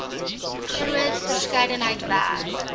groot verskeidenheid werk